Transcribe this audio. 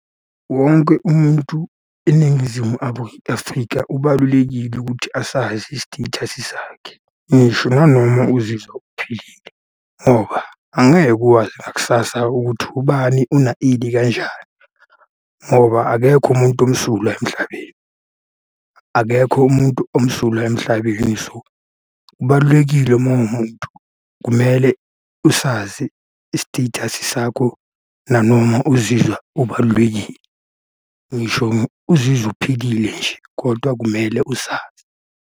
Wonke umuntu eNingizimu Afrika ubalulekile ukuthi asazi i-status sakhe. Ngisho nanoma uzizwa uphilile, ngoba angeke ukwazi ngakusasa ukuthi ubani una ini kanjani, ngoba akekho umuntu omsulwa emhlabeni. Akekho umuntu omsulwa emhlabeni so, kubalulekile uma uwumuntu kumele usazi i-status-i sakho nanoma uzizwa ubalulekile. Ngisho uzizwa uphilile nje, kodwa kumele usazi.